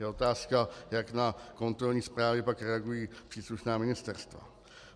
Je otázka, jak na kontrolní zprávy pak reagují příslušná ministerstva.